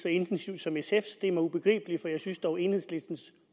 så intensivt som sfs det er mig ubegribeligt for jeg synes dog at enhedslistens